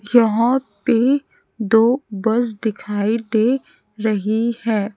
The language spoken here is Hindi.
जहां पे दो बस दिखाई दे रही है।